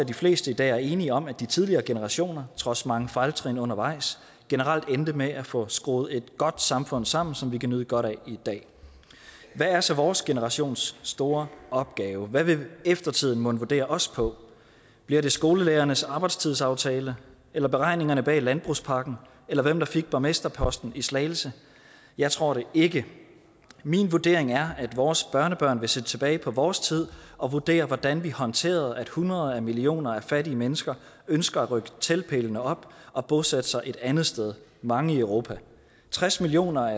de fleste i dag er enige om at de tidligere generationer trods mange fejltrin undervejs generelt endte med at få skruet et godt samfund sammen som vi kan nyde godt af i dag hvad er så vores generations store opgave hvad vil eftertiden mon vurdere os på bliver det skolelærernes arbejdstidsaftale eller beregningerne bag landbrugspakken eller hvem der fik borgmesterposten i slagelse jeg tror det ikke min vurdering er at vores børnebørn vil se tilbage på vores tid og vurdere hvordan vi håndterede at hundrede millioner af fattige mennesker ønsker at rykke teltpælene op og bosætte sig et andet sted mange i europa tres millioner